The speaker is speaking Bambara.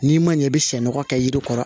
N'i ma ɲɛ i bɛ sɛnɔgɔ kɛ yiri kɔrɔ